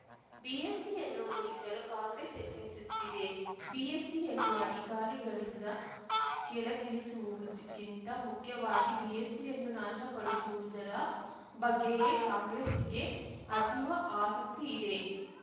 ಬಿಎಸ್ಸಿಯನ್ನು ಮುಗಿಸಲು ಕಾಂಗ್ರೆಸ್‌ ಯತ್ನಿಸುತ್ತಿದೆ ಬಿಎಸ್ಸಿಯನ್ನು ಅಧಿಕಾರಿಗಳಿಂದ ಕೆಳಗಿಳಿಸುವುದುಕ್ಕಿಂತ ಮುಖ್ಯವಾಗಿ ಬಿಎಸ್ಸಿಯನ್ನು ನಾಶಪಡಿಸುವುದರ ಬಗ್ಗೆಯೇ ಕಾಂಗ್ರೆಸ್ಸಿಗೆ ಅತೀವ ಆಸಕ್ತಿ ಇದೆ